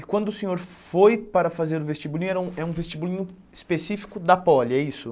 E quando o senhor foi para fazer o vestibulinho, era um é um vestibulinho específico da poli, é isso?